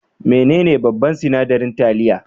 Menene babban sinadarin taliya?